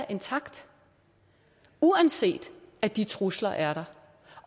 intakte uanset at de trusler er der